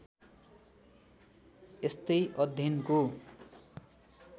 यस्तै अध्ययनको